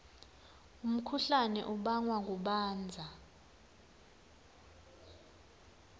umkhuhlane ubangwa kubandza